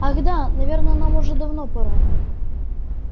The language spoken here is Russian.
ах да наверное нам уже давно пора